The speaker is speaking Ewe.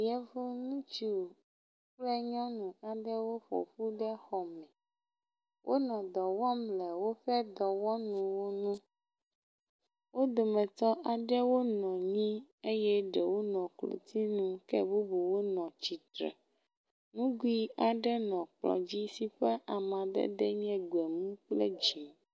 Yevu ŋutsu kple nyɔnu aɖewo ƒoƒu ɖe xɔ me. Wonɔ dɔ wɔm le woƒe dɔwɔnuwo nu. Wo dometɔ aɖewo nɔ anyi eye ɖewo nɔ klotsinu ke bubuwo nɔ atsitre. Nugui aɖe nɔ kplɔ dzi si ƒe amadede nye gbemu kple dzi.